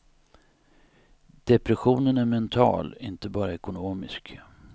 Depressionen är mental, inte bara ekonomisk.